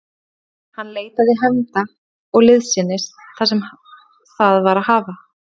Hann leitaði hefnda og liðsinnis þar sem það var að hafa.